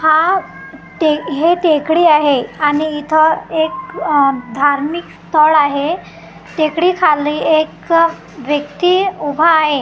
हा टे हे टेकडी आहे आणि इथं एक अह धार्मिक स्थळ आहे टेकडी खाली एक व्यक्ती उभा आहे.